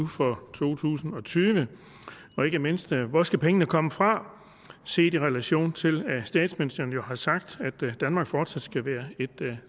for to tusind og tyve og ikke mindst hvor skal pengene komme fra set i relation til at statsministeren jo har sagt at danmark fortsat skal være et